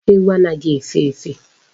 Ewu anaghi efe efe